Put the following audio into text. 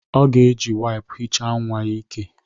Ọ ga-eji waipu hicha nnwa ya ìkè